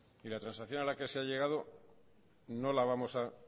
la transacción a la que se ha llegado